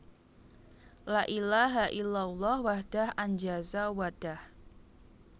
La ilaha illallahu wahdah anjaza wa dah